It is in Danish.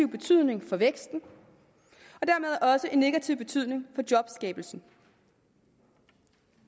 betydning for væksten og negativ betydning for jobskabelsen